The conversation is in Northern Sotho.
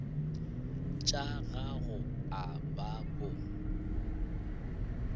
tša gago a ba bo